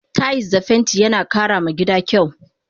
Tayis da fenti yana kara ma gida kyau